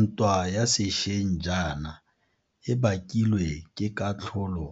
Ntwa ya sešweng jaana e bakilwe ke katlholo